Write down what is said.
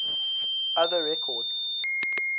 other records